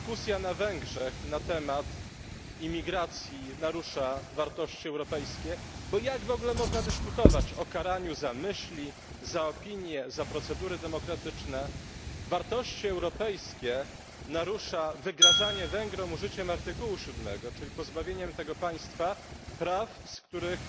Panie Przewodniczący! To nie dyskusja na Węgrzech na temat imigracji narusza wartości europejskie, bo jak w ogóle można dyskutować o karaniu za myśli, za opinię, za procedury demokratyczne? Wartości europejskie narusza wygrażanie Węgrom użyciem artykułu siódmego, czyli pozbawieniem tego państwa praw, z których